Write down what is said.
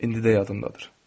İndi də yadımdadır.